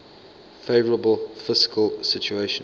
favourable fiscal situation